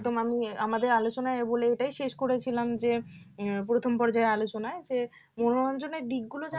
একদমই আমি আমাদের আলোচনায় বলে এটাই শেষ করেছিলাম যে প্রথম পর্যায়ে আলোচনায় যে মনোরঞ্জনের দিকগুলো